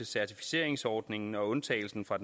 certificeringsordningen og undtagelsen fra